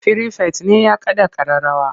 Firifet ne ya kaɗa ƙararrawa.